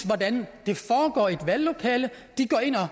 hvordan det foregår i et valglokale de går